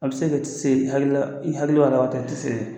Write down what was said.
A bɛ se ka t'i se hayu la, i haju ra tun te se ye